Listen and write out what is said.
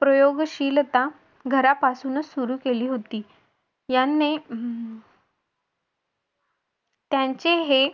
प्रयोगशीलता घरापासून सुरू केली होती. यांनी त्यांचे हे